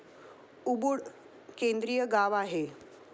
Ubud केंद्रीय गाव आहे.